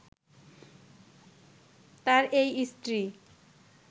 তার এই স্ত্রী